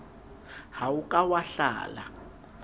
ha o ka wa hlala